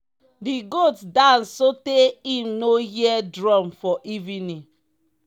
di goat dance sotey im no hear drum for evening.